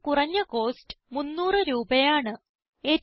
ഏറ്റവും കുറഞ്ഞ കോസ്റ്റ് 300 രൂപയാണ്